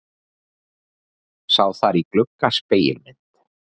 Sá þar í glugga spegilmynd.